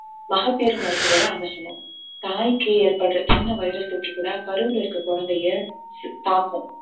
மகப்பேறு மருத்துவர அணுகனும் தாய்க்கு ஏற்படுற சின்ன virus தொற்று கூட கருவுல இருக்குற குழந்தையை தாக்கும்